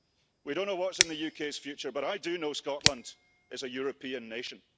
We don't know what's in the UK's future, but I do know that Scotland is a European nation.